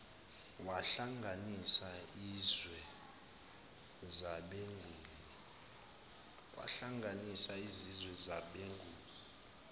wahlanganisa izizwe zabenguni